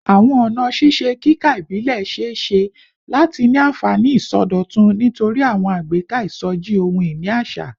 Awọn ọna ṣiṣe kika ibilẹ ṣee ṣe lati ni anfani isọdọtun nitori awọn agbeka isoji ohun-ini aṣa